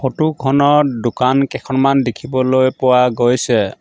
Photo খনত দোকান কেখনমান দেখিবলৈ পোৱা গৈছে।